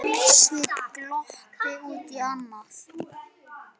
Sveinn glotti út í annað.